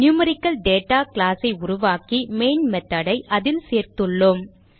நியூமெரிக்கல்தாதா class ஐ உருவாக்கி main method ஐ அதில் சேர்த்துள்ளோம்